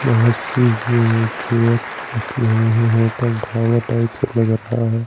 बहुत सी wheel chair रखी हुई हैं होटल ढाबा टाइप सा लग रहा है।